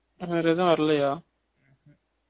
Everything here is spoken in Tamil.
வேற ஏதும் வரலையா